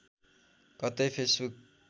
कतै फेसबुक